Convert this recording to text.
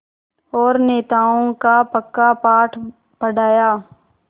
और नैतिकताओं का पक्का पाठ पढ़ाया